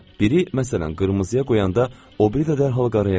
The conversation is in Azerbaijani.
Biri məsələn qırmızıya qoyanda, o biri də dərhal qaraya qoyurdu.